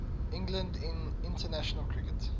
england in international cricket